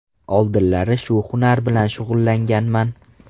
Oldinlari shu hunar bilan shug‘ullanganman.